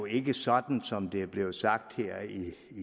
ikke sådan som det er blevet sagt her i